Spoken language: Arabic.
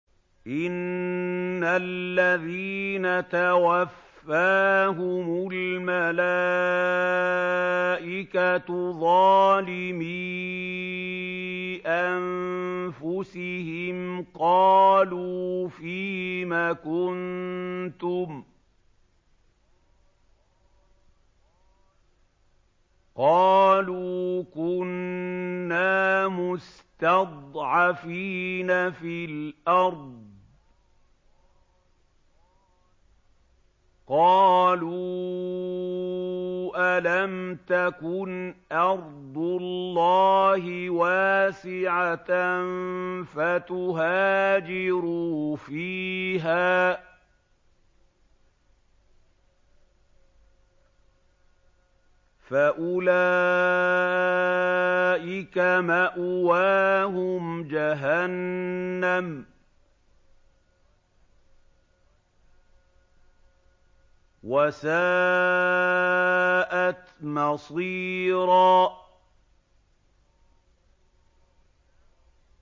إِنَّ الَّذِينَ تَوَفَّاهُمُ الْمَلَائِكَةُ ظَالِمِي أَنفُسِهِمْ قَالُوا فِيمَ كُنتُمْ ۖ قَالُوا كُنَّا مُسْتَضْعَفِينَ فِي الْأَرْضِ ۚ قَالُوا أَلَمْ تَكُنْ أَرْضُ اللَّهِ وَاسِعَةً فَتُهَاجِرُوا فِيهَا ۚ فَأُولَٰئِكَ مَأْوَاهُمْ جَهَنَّمُ ۖ وَسَاءَتْ مَصِيرًا